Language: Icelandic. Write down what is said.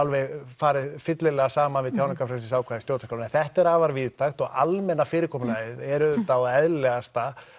farið fyllilega saman við tjáningarfrelsisákvæði stjórnarskráarinnar en þetta er afar víðtækt og almenna fyrirkomulagið er auðvitað eðlilegasta